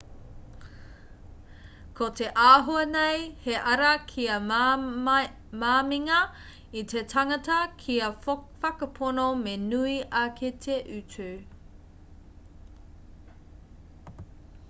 ko te āhua nei he ara kia māminga i te tangata kia whakapono me nui ake te utu